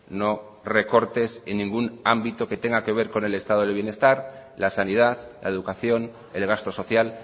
no recortes en ningún ámbito que tenga que ver con el estado del bienestar la sanidad la educación el gasto social